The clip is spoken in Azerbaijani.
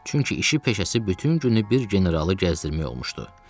Çünki işi-peşəsi bütün günü bir generalı gəzdirmək olmuşdu.